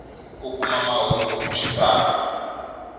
ku kuma mahungu hi xitalo